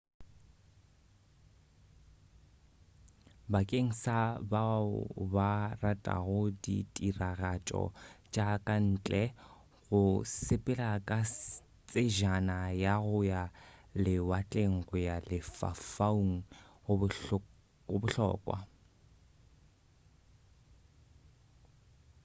bakeng sa bao ba ratago ditiragatšo tša ka ntle go sepela ka tsejana ya go ya lewatleng go ya lefaufaung go bohlokwa